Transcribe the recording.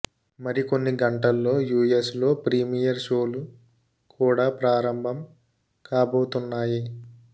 మరికొన్ని గంటల్లో యుఎస్ లో ప్రీమియర్ షోలు కూడా ప్రారంభం కాబోతున్నాయి